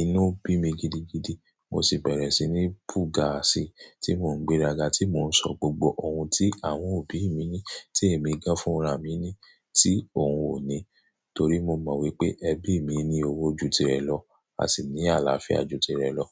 Inu bi mi gidigidi, mo si bere sini bu ga si ti mo n gbera ga ti mo n so gbogbo oun ti awon obi mi ni ti emi gan fun ra mi ni ti oun o ni. Tori mo mo wipe ebi mi ni owo ju tire lo, a si ni alafia ti re lo.